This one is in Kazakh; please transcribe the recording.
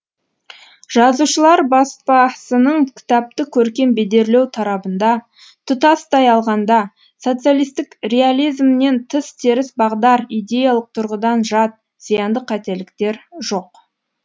жазушылар баспасының кітапты көркем бедерлеу тарабында тұтастай алғанда социалистік реализмнен тыс теріс бағдар идеялық тұрғыдан жат зиянды қателіктер жоқ